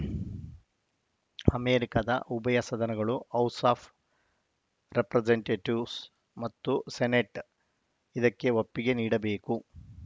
ಅಮೆರಿಕದ ಉಭಯ ಸದನಗಳು ಹೌಸ್‌ ಆಫ್‌ ರೆಪ್ರಸೆಂಟೇಟಿವ್ಸ್ ಮತ್ತು ಸೆನೆಟ್‌ ಇದಕ್ಕೆ ಒಪ್ಪಿಗೆ ನೀಡಬೇಕು